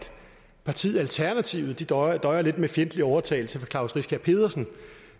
partiet alternativet døjer døjer lidt med fjendtlig overtagelse fra klaus riskær pedersen